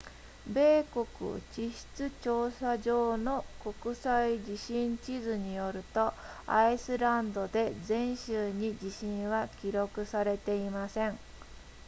米国地質調査所の国際地震地図によるとアイスランドで前週に地震は記録されていません